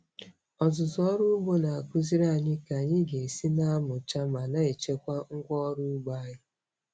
Ọzụzụ ọrụ ugbo na-akụziri anyị ka anyị ga-esi na-amụcha ma na-echekwa ngwa ọrụ ugbo anyị.